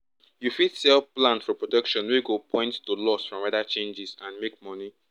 you fit sell plan for protection wey go point to loss from weather changes and make money